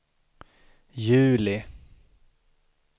juli